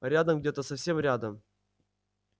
рядом где-то совсем рядом